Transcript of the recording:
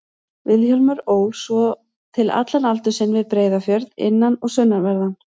Vilhjálmur ól svo til allan aldur sinn við Breiðafjörð, innan- og sunnanverðan.